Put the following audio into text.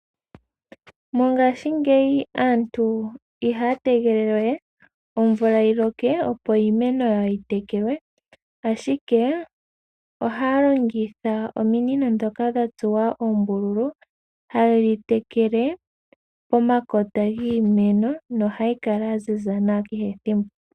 Mongaashingeyi aantu ihaa tegelele we omvula yi loke opo iimeno yawo yi telekelwe, ashike ohaa longitha ominino ndhoka dha tsuwa oombululu hadhi tekele pomakota giimeno nohayi kala ya ziza nawa kehe thimbo.